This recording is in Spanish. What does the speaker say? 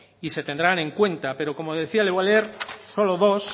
y se tendrán en cuenta pero como le decía le voy a leer solo dos